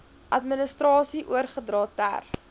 administrasie oorgedra ter